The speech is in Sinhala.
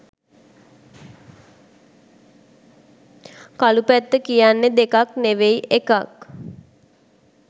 කළු පැත්ත කියන්නේ දෙකක් නෙවෙයි එකක්.